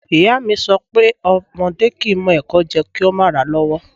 Iya mi so pé ọmọdẹ́ kìí mọ ẹ̀kọ jẹ kìí o ma ra lọ́wọ́'